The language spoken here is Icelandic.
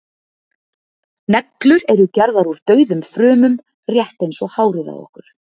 neglur eru gerðar úr dauðum frumum rétt eins og hárið á okkur